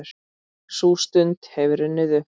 Sú stund hefur runnið upp.